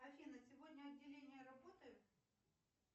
афина сегодня отделение работает